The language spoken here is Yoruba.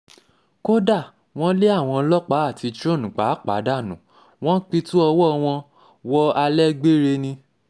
kódà wọ́n lé àwọn ọlọ́pàá àti trun um pàápàá dánú wọn pitú ọwọ́ wọn wọ um alẹ́ gbére ni